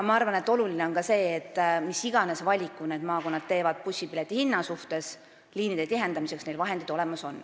Ma arvan, et oluline on ka see, et mis tahes valiku teevad maakonnad bussipileti hinna suhtes, on neil liinide tihendamiseks vahendid olemas.